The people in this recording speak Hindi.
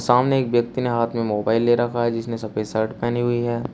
सामने एक व्यक्ति ने हाथ में मोबाइल ले रखा है जिसने सफेद शर्ट पहनी हुई है।